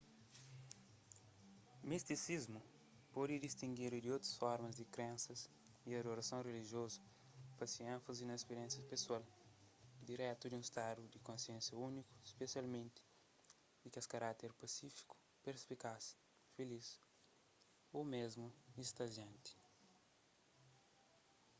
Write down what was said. mistisismu pode distingidu di otu formas di krensas y adorason rilijiozu pa se énfazi na spiriénsia pesoal diretu di un stadu di konsénsia úniku spesialmenti kes di karákter pasífiku perspikaz filis ô mésmu istazianti